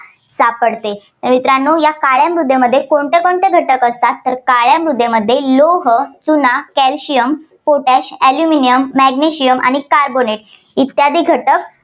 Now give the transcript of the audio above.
सापडते. तर मित्रांनो या काळ्या मृदेत कोणकोणते घटक असतात? तर काळ्या मृदेमध्ये लोह, चुना, calcium potash aluminium magnesium आणि carbonate इत्यादी घटक